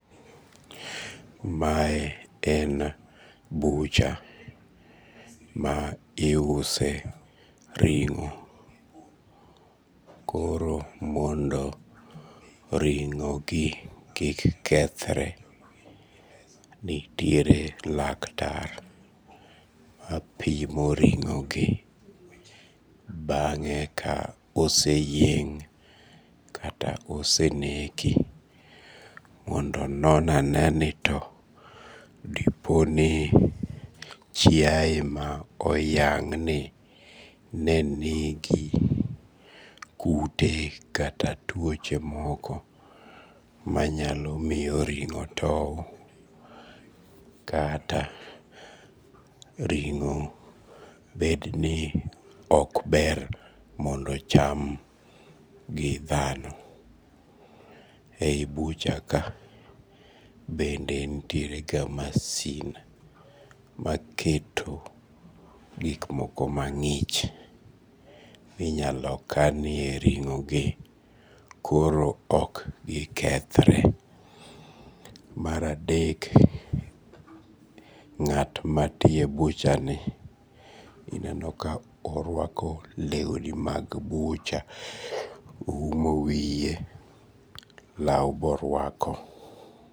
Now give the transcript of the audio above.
Mae en bucha, ma iuse ring'o, koro mondo ring'o gi kik kethre nitiere laktar mapimo ringogi bange ka ose yeng' kata ose neki, mondo onon ane ni to diponi chiaye ma oyang' ni nigi kute kata tuoche moko manyalo miyo ring'o towo, kata ringo bedni ok ber ni mondo ocham gi dhano, e yi buchaka bende nitierega masin maketo gik moko mang'ich minyalo kanie ring'ogi koro ok gikethre, mar adek ng'at ma tiyo e buchani ineni ka orwako lewni mag bucha oumo wiye lau borwako